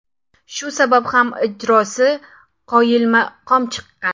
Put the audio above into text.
Shu sabab ham ijrosi qoyilmaqom chiqqan.